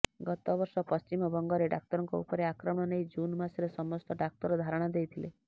ଗତବର୍ଷ ପଶ୍ଚିମବଙ୍ଗରେ ଡାକ୍ତରଙ୍କ ଉପରେ ଆକ୍ରମଣ ନେଇ ଜୁନ ମାସରେ ସମସ୍ତ ଡାକ୍ତର ଧାରଣା ଦେଇଥିଲେ